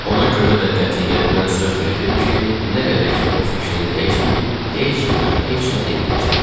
Ona görə də qətiyyətlə söz verdim ki, nə qədər ki, o fikrini dəyişməyib, heç kimə heç nə deməyəcəm.